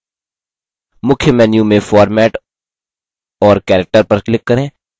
मुख्य menu में format और character पर click करें